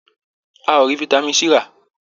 A ò rí vitamin C rà.